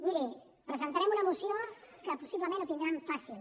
miri presentarem una moció en la qual possiblement ho tindran fàcil